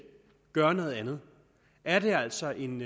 gør noget andet er det altså en